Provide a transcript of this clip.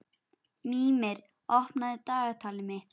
Mímir, opnaðu dagatalið mitt.